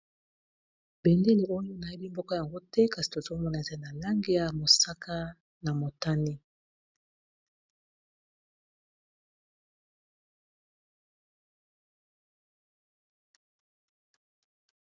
Bendele oyo nayebi mboka yango te kasi tozomona eza na lange ya mosaka na motani.